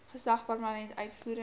gesag parlement uitvoerende